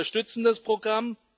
Ja, wir unterstützen das Programm.